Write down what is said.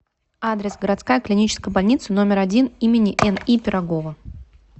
адрес городская клиническая больница номер один им ни пирогова